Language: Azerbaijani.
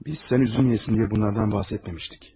Biz sən üzülməyəsən deyə bunlardan bəhs etməmişdik.